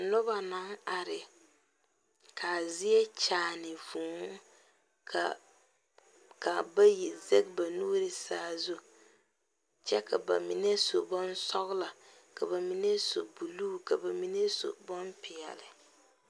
Noba naŋ are kaa zie kyaane vʋʋ, ka bayi zege ba nuuri sazu kyɛ ka ba mine su bonsɔglɔ ka ba mine su buluu ka ba mine su bon pɛɛle.